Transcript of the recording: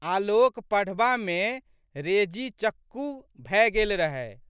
आलोक पढ़बामे रेजीचक्कू भए गेल रहए।